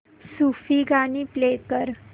सूफी गाणी प्ले कर